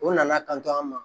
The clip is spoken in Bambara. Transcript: O nana kanto an ma